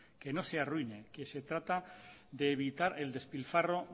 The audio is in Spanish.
que no se arruine que se trata de evitar el despilfarro